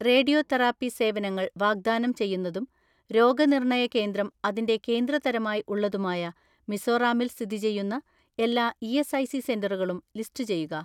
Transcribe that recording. "Radio therapy സേവനങ്ങൾ വാഗ്‌ദാനം ചെയ്യുന്നതും രോഗനിർണയ കേന്ദ്രം അതിന്റെ കേന്ദ്ര തരമായി ഉള്ളതുമായ മിസോറാമ്മിൽ സ്ഥിതി ചെയ്യുന്ന എല്ലാ ഇ.എസ്.ഐ.സി സെന്ററുകളും ലിസ്റ്റുചെയ്യുക."